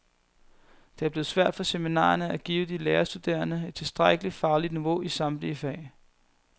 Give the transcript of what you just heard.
Det er blevet svært for seminarierne at give de lærerstuderende et tilstrækkeligt fagligt niveau i samtlige fag.